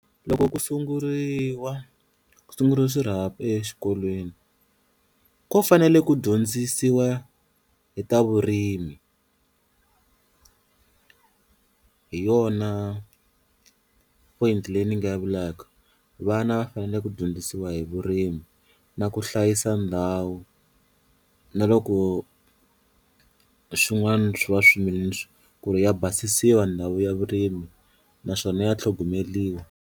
Loko ku sunguriwa ku sunguriwa swirhapa exikolweni ko fanele ku dyondzisiwa hi ta vurimi, hi yona point leyi ni nga yi vulaka vana va fanele ku dyondzisiwa hi vurimi na ku hlayisa ndhawu na loko swin'wana swi va ku ri ya basisiwa ndhawu ya vurimi naswona ya tlhogomeriwa.